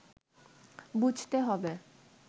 বুঝতে হবে